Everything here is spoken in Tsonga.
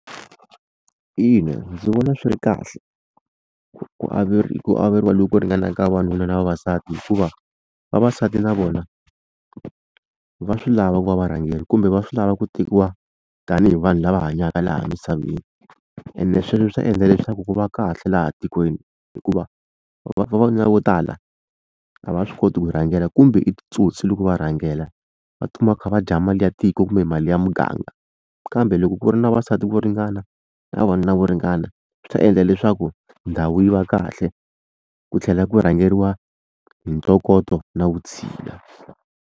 Ina ndzi vona swi ri kahle ku ku averiwa loku ku ringanaka vavanuna na vavasati hikuva vavasati na vona va swi lava ku va varhangeri kumbe va swi lava ku tekiwa tanihi vanhu lava hanyaka laha misaveni ene sweswo swi ta endla leswaku ku va kahle laha tikweni hikuva vavanuna vo tala a va swi koti ku rhangela kumbe i titsotsi loko va rhangela va tikuma va kha va dya mali ya tiko kumbe mali ya muganga kambe loko ku ri na vavasati ku ringana na vavanuna vo ringana swi ta endla leswaku ndhawu yi va kahle ku tlhela ku rhangeriwa hi ntokoto na vutshila.